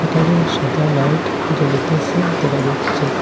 এখানে সাদা লাইট জ্বলিতেসে দেখা যাচ্ছে।